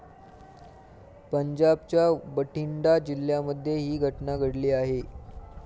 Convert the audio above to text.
पंजाबच्या बठिंडा जिल्ह्यामध्ये ही घटना घडली आहे.